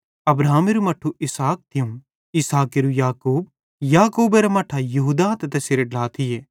अब्राहमेरू मट्ठू इसहाक थियूं इसहाकेरू याकूब याकूबेरां मट्ठां यहूदा ते तैसेरे ढ्ला थिये